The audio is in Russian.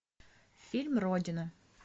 фильм родина